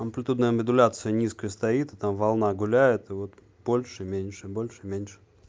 амплитудная модуляция низкая стоит и там волна гуляет и вот больше меньше больше меньше